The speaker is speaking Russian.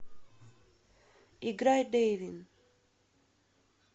играй дэйвин